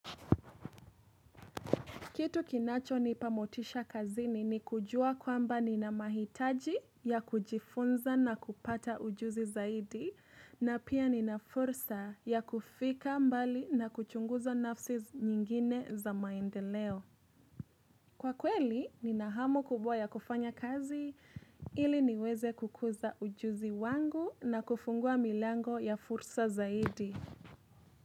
Kitu kinacho nipa motisha kazini ni kujua kwamba nina mahitaji ya kujifunza na kupata ujuzi zaidi na pia ni na fursa ya kufika mbali na kuchunguza nafsi nyingine za maendeleo. Kwa kweli nina hamu kubwa ya kufanya kazi ili niweze kukuza ujuzi wangu na kufungua milango ya fursa zaidi.